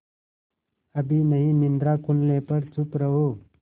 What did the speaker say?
अभी नहीं निद्रा खुलने पर चुप रहो